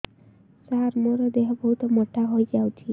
ସାର ମୋର ଦେହ ବହୁତ ମୋଟା ହୋଇଯାଉଛି